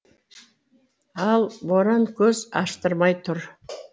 ал боран көз аштырмай тұр